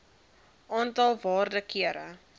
aantal waarde kere